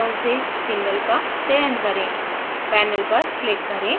single bond order drop down से single का चयन करें